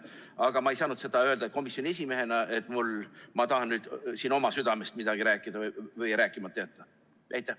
Aga ma ei saanud öelda komisjoni esimehena, et ma tahan siin oma südamest midagi rääkida või rääkimata jätta.